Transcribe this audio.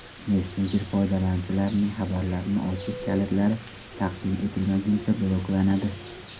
Messenjer foydalanuvchilarning xabarlarini ochish kalitlari taqdim etilmaguncha bloklanadi.